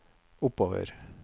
oppover